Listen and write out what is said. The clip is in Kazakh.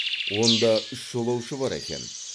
онда үш жолаушы бар екен